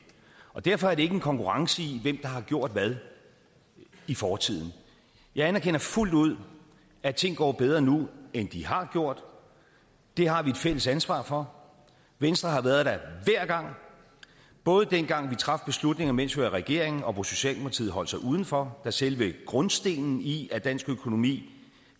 og derfor er det ikke en konkurrence i hvem der har gjort hvad i fortiden jeg anerkender fuldt ud at ting går bedre nu end de har gjort det har vi et fælles ansvar for venstre har været der hver gang både dengang vi traf beslutninger mens vi var i regering og hvor socialdemokratiet holdt sig udenfor da selve grundstenen i at dansk økonomi